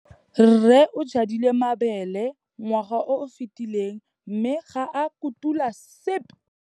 Rre o jadile mabêlê ngwaga o o fetileng mme ga a kotula sepê.